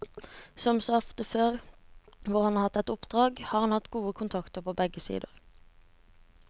Som så ofte før hvor han har hatt et oppdrag har han hatt gode kontakter på begge sider.